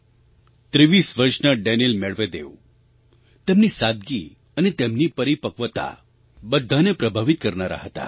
23 વર્ષના Daniil Medvedev તેમની સાદગી અને તેમની પરિપક્વતા બધાને પ્રભાવિત કરનારાં હતાં